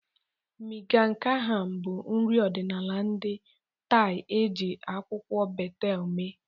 Miang kham bụ nri ọdịnala ndị Thai e ji akwụkwọ betel mee.